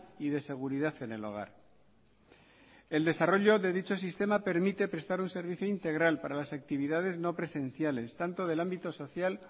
y de seguridad en el hogar el desarrollo de dicho sistema permite prestar un servicio integral para las actividades no presenciales tanto del ámbito social